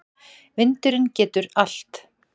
Vindurinn getur allt.